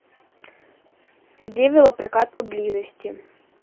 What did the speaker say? где велопрокат поблизости